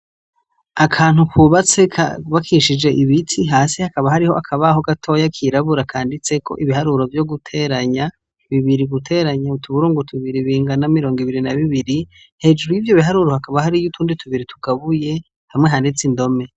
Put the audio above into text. Akantu kubatse kubakishije ibiti hasi hakaba hariho akabaho gatoyi kirabura kanditseko ibiharuro vyo guteranya bibiri guteranya utuburungu tubiri bingana mirongo ibiri na bibiri, hejuru yivyo biharuro hakaba hariyo utundi tubiri tugabuye hamwe handitse indome.